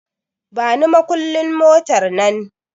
Bani makullin motar nan